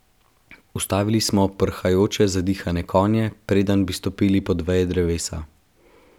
Ustavili smo prhajoče, zadihane konje, preden bi stopili pod veje drevesa.